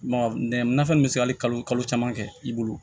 Mɔgɔ nɛgɛso min bɛ se ka hali kalo caman kɛ i bolo